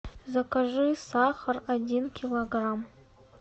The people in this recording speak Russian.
закажи сахар один килограмм